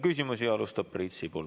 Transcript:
Küsimusi alustab Priit Sibul.